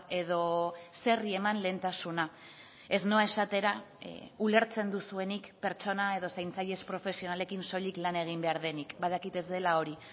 edo zeri eman lehentasuna ez noa esatera ulertzen duzuenik pertsona edo zaintzaile ez profesionalekin soilik lan egin behar denik badakit ez dela hori